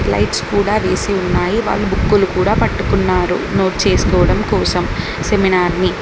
Lights కూడా వేసి ఉన్నాయి వాటి బుక్లు కూడా పట్టుకున్నారు నోట్ చేసుకోవడం కోసం సెమినార్ ని.